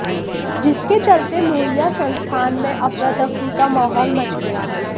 जिसके चलते लोहिया संस्थान में अफरा तफरी का माहौल मच गया